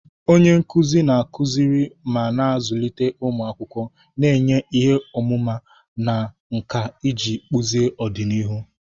Onye nkuzi na-akụziri ma na-azụlite ụmụ akwụkwọ, na-enye ihe ọmụma na nkà iji kpụzie ọdịnihu.